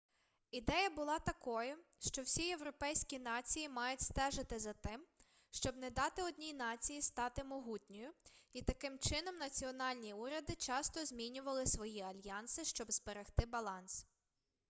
ідея була такою що всі європейські нації мають стежити за тим щоб не дати одній нації стати могутньою і таким чином національні уряди часто змінювали свої альянси щоб зберегти баланс